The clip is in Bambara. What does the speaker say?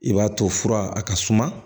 I b'a to fura a ka suma